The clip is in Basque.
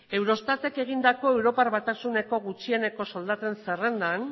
eurostatetek egindako europar batasuneko gutxieneko soldaten zerrendan